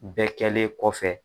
Bɛɛ kɛlen kɔfɛ